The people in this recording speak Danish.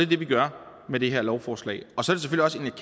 det vi gør med det her lovforslag og så